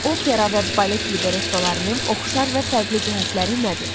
Opera və balet librettolarının oxşar və fərqli cəhətləri nədir?